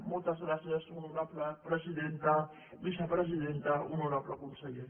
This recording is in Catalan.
moltes gràcies honorable presidenta vicepresidenta honorable conseller